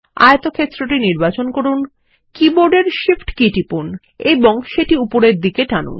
আয়তক্ষেত্রটি নির্বাচন করুন কীবোর্ডের Shift কী টিপুন এবং সেটি উপরের দিকে টানুন